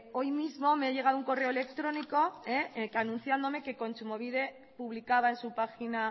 hoy mismo me ha llegado un correo electrónico anunciándome que kontsumobide publicaba en su página